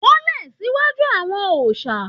Wólẹ̀ níwájú àwọn òòsà!